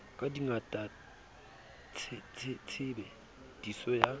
ka bongata tshebe diso ya